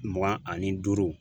Mugan ani duuru.